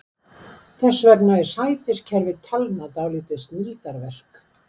Þess vegna er sætiskerfi talna dálítið snilldarverk.